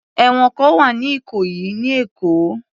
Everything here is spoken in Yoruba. Ẹ̀wọ̀n kan wà ní ìkòyí ní Èkó.